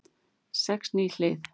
Sex ný hlið